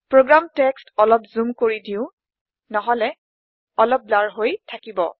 program text অলপ জোম কৰি দিও নহলে অলপ ধুৱা হৈ থাকিব